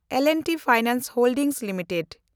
L and T finance holdings limited